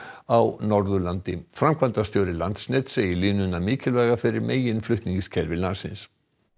á Norðurlandi framkvæmdastjóri Landsnets segir línuna mikilvæga fyrir meginflutningskerfi landsins